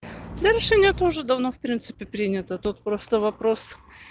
да решение это уже давно в принципе принято тут просто вопрос